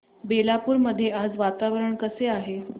बेलापुर मध्ये आज वातावरण कसे आहे